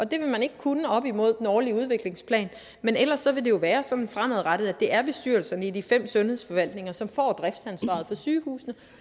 det vil man ikke kunne op imod den årlige udviklingsplan men ellers vil det jo være sådan fremadrettet at det er bestyrelserne i de fem sundhedsforvaltninger som får driftsansvaret for sygehusene